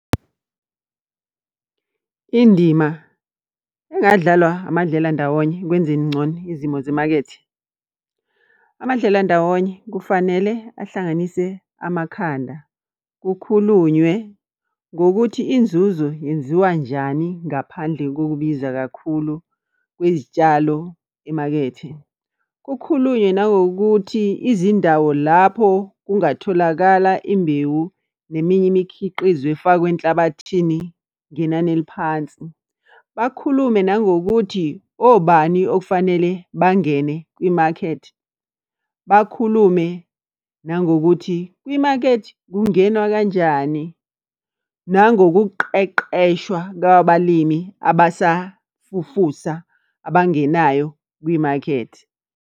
Indima engadlalwa amadlelandawonye ekwenzeni ngcono izimo zemakethe. Amadlelandawonye kufanele ahlanganise amakhanda, kukhulunywe ngokuthi inzuzo yenziwa njani ngaphandle kokubiza kakhulu kwezitshalo emakethe. Kukhulunywe nangokuthi izindawo lapho kungatholakala imbewu neminye imikhiqizo efakwa enhlabathini ngenani eliphansi. Bakhulume nangokuthi, obani okufanele bangene kwimakethe? Bakhulume nangokuthi, kwimakethe kungenwa kanjani? Nangokuqeqeshwa kwabalimi abasafufusa, abangenayo kwimakethe.